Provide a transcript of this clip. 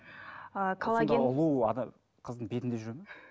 қыздың бетінде жүре ме